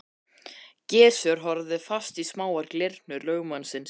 Gizur horfði fast í smáar glyrnur lögmannsins.